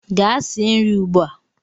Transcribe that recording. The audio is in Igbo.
Gaa sie nri ugbu a!